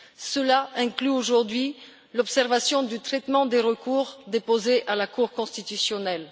Cela inclut aujourd'hui l'observation du traitement des recours déposés à la Cour constitutionnelle.